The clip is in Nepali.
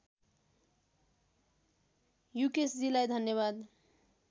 युकेशजीलाई धन्यवाद